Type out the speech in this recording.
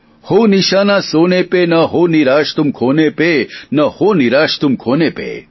હો નિશાના સોને પે ન હો નિરાશ તુમ ખોને પે ન હો નિરાશ તુમ ખોને પે